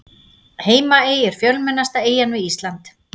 Heimaey er fjölmennasta eyjan við Ísland.